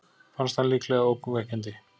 Fannst hann líklega ógnvekjandi.